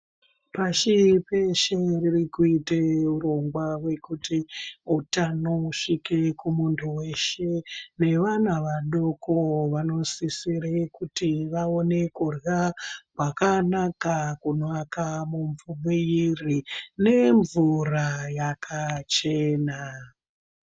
Pashi peshe riri kuite urongwa hwekuti utano usvike kumuntu weshe nevana vadoko vanosisire kuti vaone kurya kwakanaka kunoaka miviri nemvura yakachena.